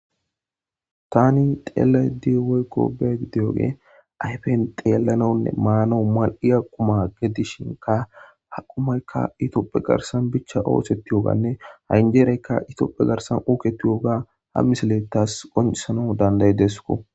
tani xeelay diwoykko beg diyoge ayfen xeellanonne maana mal7i aquma gedishinka haqumaykka itioopphe garsan bicha oosettiyooganne hanjeereyka itiooppe garsan uuketiyooga ha miselettas qonesano danday deesko